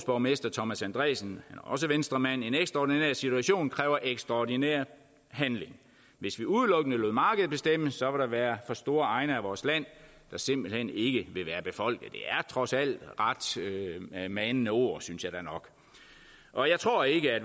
borgmester thomas andresen også venstremand siger en ekstraordinær situation kræver ekstraordinær handling hvis vi udelukkende lod markedet bestemme så vil der være for store egne af vores land der simpelthen ikke vil være befolket det er trods alt ret manende ord synes jeg da nok og jeg tror ikke at